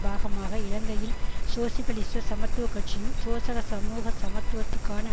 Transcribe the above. பாகமாக இலங்கையில் சோசியலிச சமத்துவ கட்சியும் சோசக சமூக சமத்துவத்துக்கான